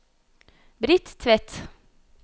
Britt Tvedt